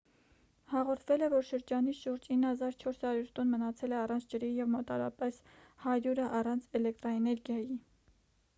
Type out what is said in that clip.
հաղորդվել է որ շրջանի շուրջ 9400 տուն մնացել է առանց ջրի և մոտավորապես 100-ը առանց էլեկտրաէներգիայի